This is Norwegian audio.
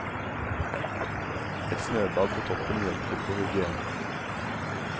Et snøbad på toppen hjelper på hygienen.